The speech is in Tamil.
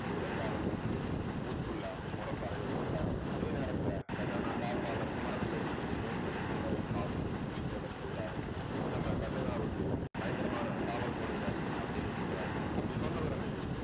ஒரு உதவியாளன்ட்ட சொல்லி ஊர் full ஆ முரசறைய சொல்றாரு. அதே நேரத்துல கஜானா காப்பாளர் குமரப்பிள்ளை கிட்டயும் வேல்மணி தேவரையும் பார்த்து புலித்தேவர் சொல்றாரு நம்ம கஜானாவுக்கு பயங்கரமான காவல் போடுங்க அப்படின்னு சொல்றாரு அப்படி சொன்னது அன்னைக்கு